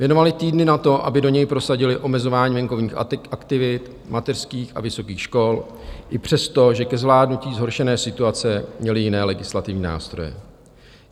Věnovali týdny na to, aby do něj prosadili omezování venkovních aktivit mateřských a vysokých škol, i přesto, že ke zvládnutí zhoršené situace měli jiné legislativní nástroje.